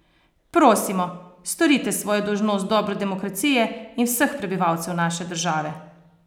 Prosimo, storite svojo dolžnost v dobro demokracije in vseh prebivalcev naše države!